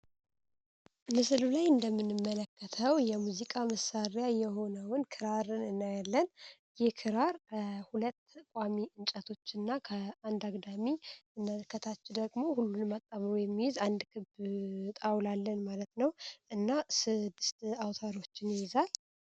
ንስሉ ላይ እንደምንመለከተው የሙዚቃ መሳሪያ የሆነውን ክራር እነያለን ይህ ክራር ከሁለት ቋሚ እንጨቶች እና ከአንድ አግዳሚ እመለከታች ደግሞ ሁሉን ማጣሙሩ የሚይዝ አንድ ክብጣውላለን ማለት ነው፡፡ እና ስድስት አውታሮችን ይይዛል፡፡